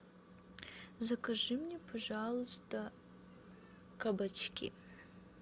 закажи мне пожалуйста кабачки